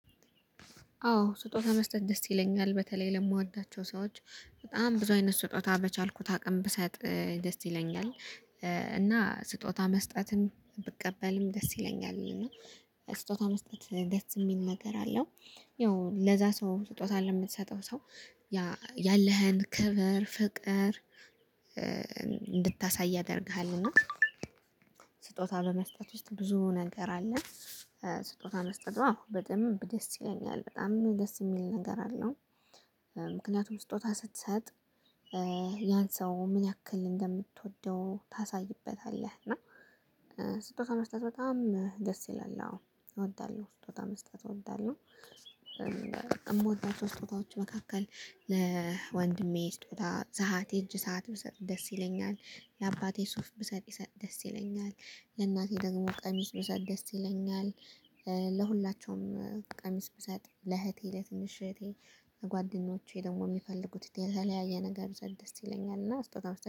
አዎ ስጦታ መስጠት ደስ ይለኛል በተለይ ለምወዳቸው ሰዎች በጣም ብዙ አይነት ስጦታ በቻልኩት አቅም ብሰጥ ደስ ይለኛል። እና ስጦታ መስጠትም ብቀበልም ደስ ይለኛል እና ስጦታ መስጠት ደስ የሚል ነገር አለው። ያው ለዛ ሰው ስጦታ ለምትሰጠው ሰው ያ ያለህን ክብር ፍቅር እንድታሳይ ያደርግሃል። እና ስጦታ በመስጠት ውስጥ ብዙ ነገር አለ። ስጦታ መስጠቷ በደንብ ደስ ይለኛል በጣም ደስ የሚል ነገር አለው። ምክንያቱም ስጦታ ስትሰጥ ያን ሰው ምን ያክል እንደምትወደው ታሳይበታለህ። እና ስጦታ መስጠት በጣም ደስ ይላል። አዎ እወዳለሁ ስጦታ መስጠት እወዳለሁ። የምወዳቸው ስጦታዎች መካከል ለወንድሜ ስጦታ ሰዓት የእጅ ሰዓት ብሰጥ ደስ ይለኛል። ለአባቴ ሱፍ ብሰጥ ይሰት ደስ ይለኛል። ለእናቴ ደግሞ ቀሚስ ብሰጥ ደስ ይለኛል። ለሁላችሁም ቀሚስ ብሰጥ ለእህቴ ለትንሽ እህቴ ለጓደኞቼ ደግሞ የሚፈልጉት የተለያየ ነገር ብሰጥ ደስ ይለኛል እና ስጦታ